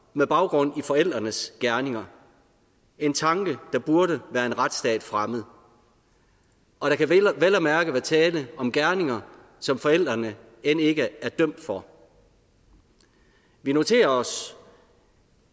med baggrund i forældrenes gerninger en tanke der burde være en retsstat fremmed og der kan vel og mærke være tale om gerninger som forældrene end ikke er dømt for vi noterer os